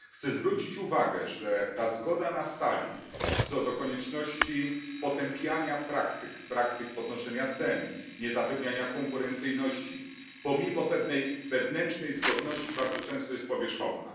Chcę zwrócić uwagę, że ta zgoda na sali co do konieczności potępiania praktyk podnoszenia cen, niezapewniania konkurencyjności, pomimo pewnej wewnętrznej zgodności bardzo często jest powierzchowna.